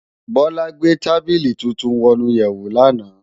Bola gbé tábìlí tútùn wònú iyèwó làná